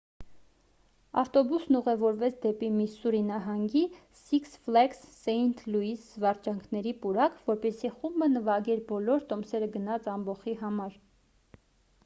ավտոբուսն ուղևորվեց դեպի միսսուրի նահանգի սիքս ֆլեգս սեինթ լուիս զվարճանքների պուրակ որպեսզի խումբը նվագեր բոլոր տոմսերը գնած ամբոխի համար